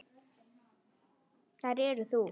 Þær eru þú.